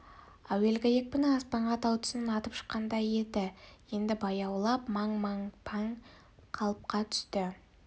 әуелгі екпіні аспанға тау тұсынан атып шыққандай еді енді баяулап маң-маң паң қалыпқа түсті